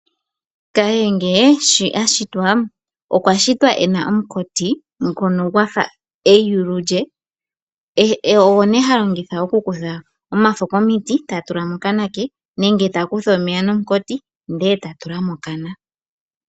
Kahege osho ashitwa okwashitwa ena omunkati ngono gwafa eyulu lye ogo ne halongitha okukutha omafo komiti eta tula mokana kwe nenge takutha omeya nomunkoti eta tula mokana.